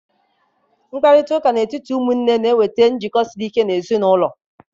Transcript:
Mkparịta ụka n'etiti ụmụnne na-ewulite njikọ siri ike n'ezi n'ulo.